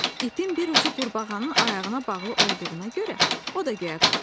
İpin bir ucu qurbağanın ayağına bağlı olduğuna görə o da göyə qalxdı.